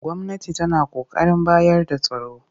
Gwamnati tana ƙoƙarin bayar da tsaro